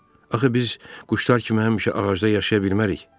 Axı biz quşlar kimi həmişə ağacda yaşaya bilmərik.